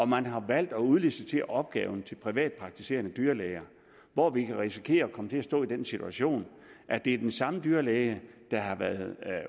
man har valgt at udlicitere opgaven til privatpraktiserende dyrlæger hvor vi kan risikere at komme til at stå i den situation at det er den samme dyrlæge der har været